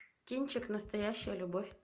кинчик настоящая любовь